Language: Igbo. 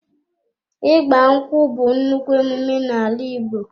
ịgbankwụ bú nnukwu ememe na ala Ìgbo.